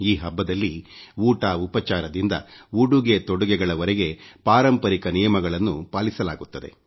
ಈ ಹಬ್ಬದಲ್ಲಿ ಊಟ ಉಪಚರದಿಂದ ಉಡುಗೆ ತೊಡುಗೆಗಳವರೆಗೆ ಪಾರಂಪರಿಕ ನಿಯಮಗಳನ್ನು ಪಾಲಿಸಲಾಗುತ್ತದೆ